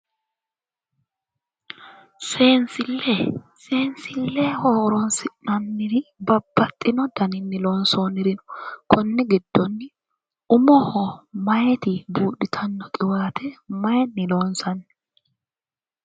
Seesille seenisilleho horonisi'nanniri babbaxino daninni loonisoonirin no konni giddoni umoho meyati buudhitanno qiwaate mayinni loonissanni